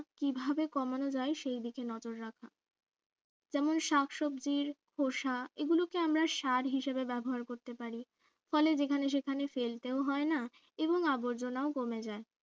কিভাবে কমানো যায় সেই দিকে নজর রাখা যেমন শাকসবজির খোসা এগুলোকে আমরা স্যার হিসেবে ব্যবহার করতে পারি ফলে যেখানে সেখানে ফেলতে হয় না এবং আবর্জনাও কমে যায়